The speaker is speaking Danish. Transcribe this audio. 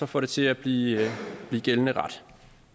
får det til at blive gældende ret